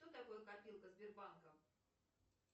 что такое копилка сбербанка